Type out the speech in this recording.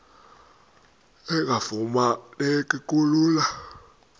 engafuma neki lula